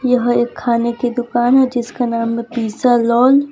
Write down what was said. यह एक खाने की दुकान हैं जिसका नाम में पिज़्ज़ालोन ।